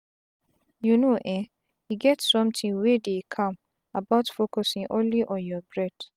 you know eeh e get sometin wey dey calm about focusing only on your breath.